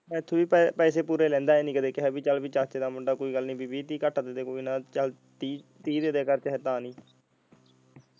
ਮੈਥੋਂ ਵੀ ਪੈਸੇ ਪੂਰੇ ਲੈਂਦਾ ਇਹ ਨਹੀਂ ਕਦੀ ਕਿਹਾ ਬੀ ਚਲ ਬੀ ਚਾਚੇ ਦਾ ਮੁੰਡਾ ਕੋਈ ਗੱਲ ਨੀ ਵੀਹ ਤੀਹ ਘਟ ਦੇਦੇ ਕੋਈ ਨਾ ਚਲ ਤੀਹ ਦੇਦੇ .